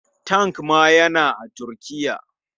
Tank ma yana a Turkiya.